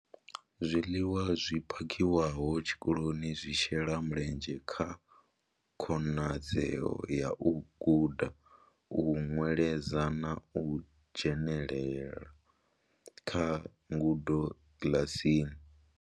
Zwiḽiwa zwi phakhiwaho tshikoloni zwi shela mulenzhe kha khonadzeo ya u guda, u nweledza na u dzhenela kha ngudo kiḽasini.